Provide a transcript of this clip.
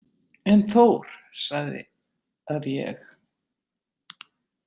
En Þór sagði að ég.